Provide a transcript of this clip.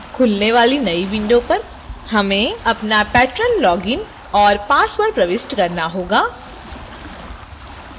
खुलने वाली नई window पर हमें अपना patron login और password प्रविष्ट करना होगा